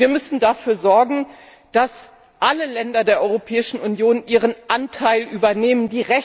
Und wir müssen dafür sorgen, dass alle Länder der Europäischen Union ihren Anteil übernehmen.